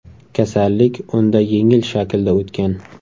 Kasallik unda yengil shaklda o‘tgan.